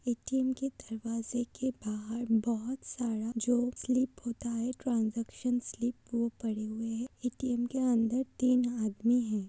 ATM के दरवाज़े के बाहर बहोत सारा जो स्लिप होता है ट्रांजैक्शन स्लिप वो पड़े हुए है। एटीएम के अंदर तीन आदमी हैं।